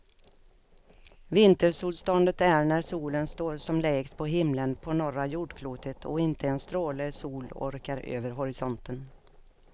Vintersolståndet är när solen står som lägst på himlen på norra jordklotet och inte en stråle sol orkar över horisonten.